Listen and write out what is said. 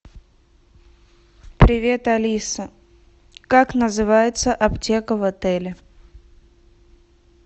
привет алиса как называется аптека в отеле